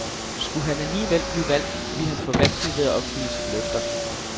Skulle han alligevel blive valgt, ville han få vanskeligt ved at opfylde sine løfter.